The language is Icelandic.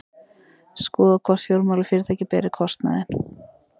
Skoðað hvort fjármálafyrirtæki beri kostnaðinn